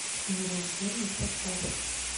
нерожденный поставь